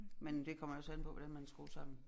Men det kommer jo også an på hvordan man er skruet sammen